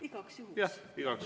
Igaks juhuks lepime nii kokku.